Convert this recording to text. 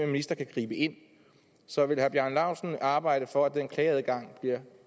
minister kan gribe ind så vil herre bjarne laustsen arbejde for at den klageadgang bliver